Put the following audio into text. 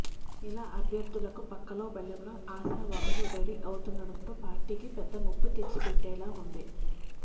ఇలా అభ్యర్థులకు పక్కలో బల్లెంలో ఆశావాహులు రెడీ అవుతుండటం పార్టీకి పెద్ద ముప్పు తెచ్చిపెట్టేలా ఉంది